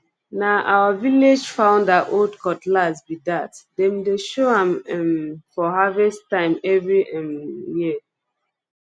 na our village founder old cutlass be thatdem dey show am um for harvest time every um year